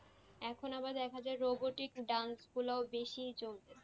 এখন আবার দেখা যায় robotic dance গুল বেশি চলতেছে।